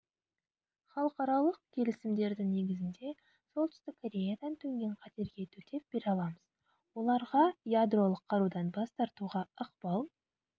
халықаралық келісімдердің негізінде солтүстік кореядан төнген қатерге төтеп бере аламыз оларға ядролық қарудан бас тартуға ықпал